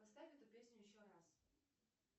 поставь эту песню еще раз